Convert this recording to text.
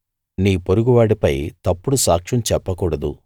నీ పొరుగువాడిపై తప్పుడు సాక్ష్యం చెప్పకూడదు